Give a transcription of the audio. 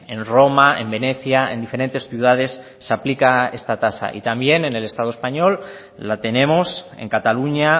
en roma en venecia en diferentes ciudades se aplica esta tasa y también en el estado español la tenemos en cataluña